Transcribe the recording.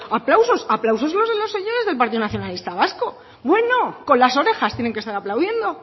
aplausos aplausos los de los señores del partido nacionalista vasco con las orejas tienen que estar aplaudiendo